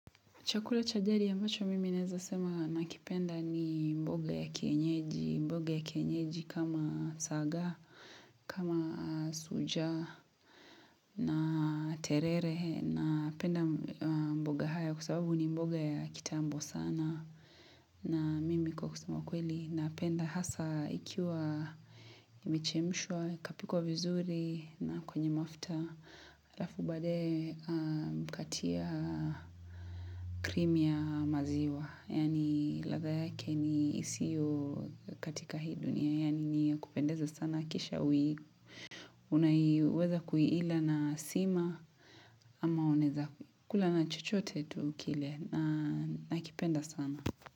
Chakula cha jadi ambacho mimi naeza sema nakipenda ni mboga ya kienyeji, mboga ya kienyeji kama saga, kama sucha na terere napenda mboga haya kwa sababu ni mboga ya kitambo sana. Na mimi kwa kwa kusema kweli na penda hasa ikiwa imechemshua ikapikwa vizuri na kwenye mafuta alafu badae ukatia krimia maziwa Yani ladha yake ni isio katika hii dunia Yaani ni kupendeza sana kisha Unaiweza kuiila na sima ama unaeza kula na chochote tu kile na kipenda sana.